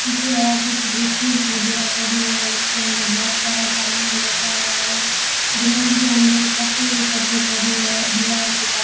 पीछे और भी कुछ स्टूल वगैरा पड़ी है उसके अंदर बहोत सारा सामान रखा हुआ है ग्राउंड के अंदर कटी कट्टे पड़ी है दीवार के पास --